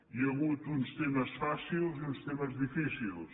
hi ha hagut uns temes fàcils i uns temes difícils